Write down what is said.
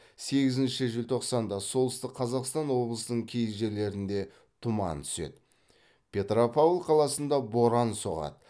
сегізінші желтоқсанда солтүстік қазақстан облысының кей жерлерінде тұман түседі петропавл қаласында боран соғады